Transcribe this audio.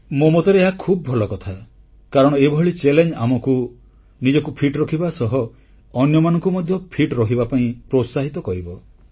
ମୋ ମତରେ ଏହା ଖୁବ୍ ଭଲ କଥା କାରଣ ଏଭଳି ଚାଲେଞ୍ଜ ଆମକୁ ନିଜକୁ ଫିଟ ରଖିବା ସହ ଅନ୍ୟମାନଙ୍କୁ ମଧ୍ୟ ଫିଟ ରହିବା ପାଇଁ ପ୍ରୋତ୍ସାହିତ କରିବ